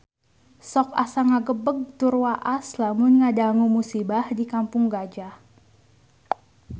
Sok asa ngagebeg tur waas lamun ngadangu musibah di Kampung Gajah